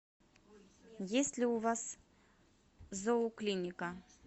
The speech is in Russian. есть ли у вас зооклиника